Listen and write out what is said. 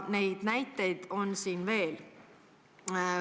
Neid näiteid on veel.